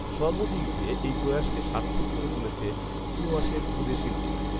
সর্বদিক দিয়ে এই প্রয়াসকে সার্থক করে তুলেছে চুঁআসের ক্ষুদে শিল্পীরা